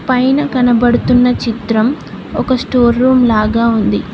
పైన కనబడుతున్న చిత్రం ఒక స్టోర్ రూమ్ లాగా ఉంది.